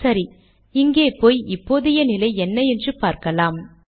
சரி இங்கே போய் இப்போதைய நிலை என்ன என்று பார்க்கலாம்